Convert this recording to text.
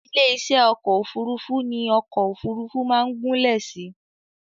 Ilé-iṣẹ́ ọkọ̀ òfurufú ní ọkọ̀ òfurufú máa ń gúnlẹ̀ sí